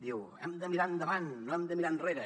diu hem de mirar endavant no hem de mirar enrere